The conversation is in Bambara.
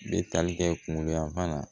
Bɛ tali kɛ kungoya la